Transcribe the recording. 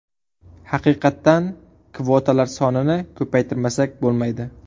Haqiqatdan kvotalar sonini ko‘paytirmasak bo‘lmaydi.